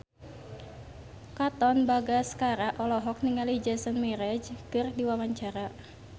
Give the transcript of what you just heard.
Katon Bagaskara olohok ningali Jason Mraz keur diwawancara